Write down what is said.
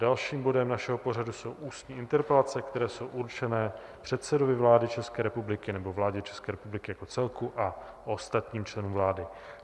Dalším bodem našeho pořadu jsou ústní interpelace, které jsou určené předsedovi vlády České republiky nebo vládě České republiky jako celku a ostatním členům vlády.